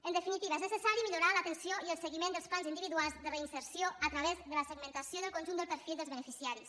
en definitiva és necessari millorar l’atenció i el seguiment dels plans individuals de reinserció a través de la segmentació del conjunt del perfil dels beneficiaris